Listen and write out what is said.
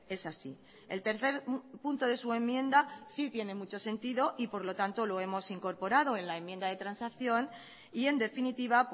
es así el tercer punto de su enmienda sí tiene mucho sentido y por lo tanto lo hemos incorporado en la enmienda de transacción y en definitiva